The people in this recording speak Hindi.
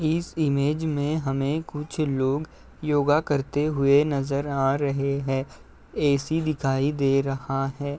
इस इमेज में हमे कुछ लोग योगा करते हुए नजर आ रहे हैं। एसी दिखाई दे रहा है।